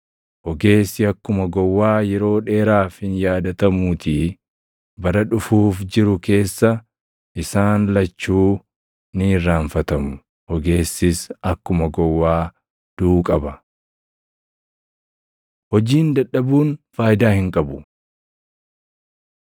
Ogeessi akkuma gowwaa yeroo dheeraaf hin yaadatamuutii; bara dhufuuf jiru keessa isaan lachuu ni irraanfatamu. Ogeessis akkuma gowwaa duʼuu qaba! Hojiin Dadhabuun Faayidaa Hin Qabu